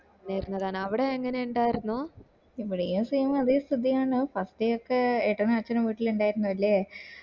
മ്മ പറഞ്ഞതാണ് അവിടെ എങ്ങനെ ഇണ്ടായിരുന്നോ ഇവിടെയും same അതെ സ്ഥിതി അങ്ങനെ തന്നെയാ പത്തി നോകികെ ഏട്ടനും അച്ഛനും വീട്ടില് ഇണ്ടായിരുന്നു അല്ലേ